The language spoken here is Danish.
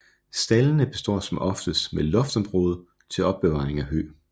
Staldene består som oftest med et loftsområde til opbevaring af hø